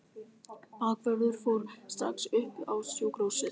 Bakvörðurinn fór strax upp á sjúkrahús.